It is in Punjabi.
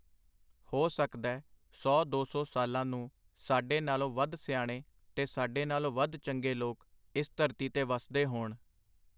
ਹੋ ਸਕਦੈ ਸੌ ਦੋ ਸੌ ਸਾਲਾਂ ਨੂੰ ਸਾਡੇ ਨਾਲੋਂ ਵੱਧ ਸਿਆਣੇ ਤੇ ਸਾਡੇ ਨਾਲੋਂ ਵੱਧ ਚੰਗੇ ਲੋਕ ਇਸ ਧਰਤੀ ਤੇ ਵਸਦੇ ਹੋਣ.